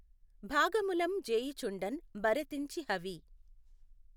భాగములం జేయుచుండఁ బఱతెంచి హవి